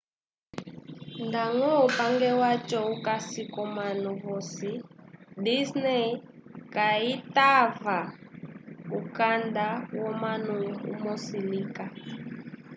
ndañgo upange waco ukasi k'omanu vosi disney kayitava ukanda womunu umso lika